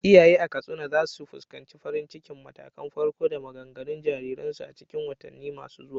Iyaye a Katsina za su fuskanci farin cikin matakan farko da maganganun jariransu a cikin watanni masu zuwa.